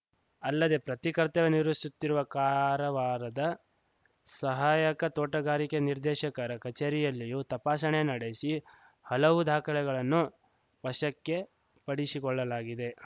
ಅಲ್ಲದೇ ಪತಿ ಕರ್ತವ್ಯ ನಿರ್ವಹಿಸುತ್ತಿರುವ ಕಾರವಾರದ ಸಹಾಯಕ ತೋಟಗಾರಿಕೆ ನಿರ್ದೇಶಕರ ಕಚೇರಿಯಲ್ಲಿಯೂ ತಪಾಸಣೆ ನಡೆಸಿ ಹಲವು ದಾಖಲೆಗಳನ್ನು ವಶಕ್ಕೆ ಪಡಿಶಿಕೊಳ್ಳಲಾಗಿದೆ